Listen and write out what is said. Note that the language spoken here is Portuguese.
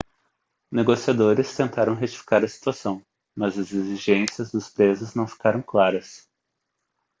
negociadores tentaram retificar a situação mas as exigências dos presos não ficaram claras